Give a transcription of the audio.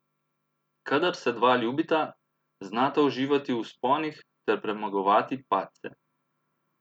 Kadar se dva ljubita, znata uživati v vzponih ter premagovati padce.